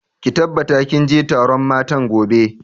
Ki tabbata kin je taron matan gobe!